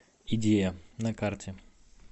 идея на карте